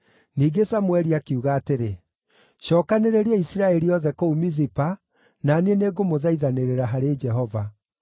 Ningĩ Samũeli akiuga atĩrĩ, “Cookanĩrĩriai Isiraeli othe kũu Mizipa, na niĩ nĩngamũthaithanĩrĩra harĩ Jehova.”